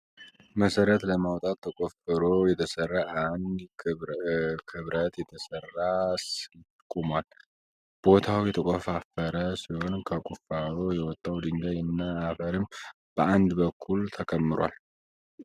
መሰረት ለማውጣት ተቆፍሮ የተሰራ እና ከብረት የተሰራ ስላቭ ቆሟል። ቦታው የተቆፋፈረ ሲሆን ከቁፋሮ የወጣው ድንጋይ እና አፈርም በአንድ በኩል ተከምሯል።